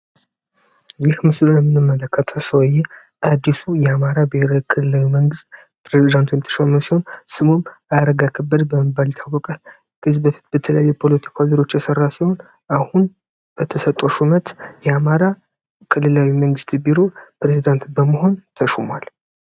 ይህ ምስሩን የምንመለከትሰይ አዲሱ የአማራ ብሄራዊ ክልለዊ መንግስት ፕሬደንትንተሾመ ሲሆን ስሙም አረጋ ከበድ በመባል ሊታወቀል የግዝ በፊት በትለየ ፖሎቲከ ወዚሮች የሠራ ሲሆን አሁን በተሰጦ ሹመት የአማራ ቅልላዊ መንግዝት ቢሮ ፕሬዝዳንት በመሆን ተሹሟል፡፡